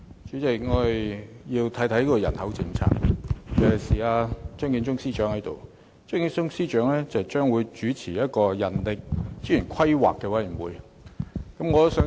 主席，我要談談人口政策，尤其趁張建宗司長在席，他將主持人力資源規劃委員會。